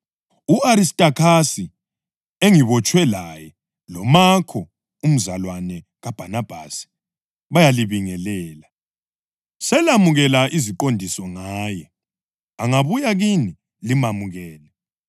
U-Aristakhasi engibotshwe laye loMakho umzawakhe kaBhanabhasi bayalibingelela. (Selamukela iziqondiso ngaye; angabuya kini limamukele.)